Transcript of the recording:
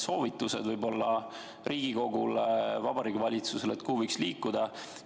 Võib-olla annate mõned soovitused Riigikogule ja Vabariigi Valitsusele, et kuhu võiksime liikuda.